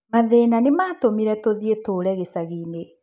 Mathĩna nĩ maatũmire tũthiĩ tũtũũre gĩcagi-inĩ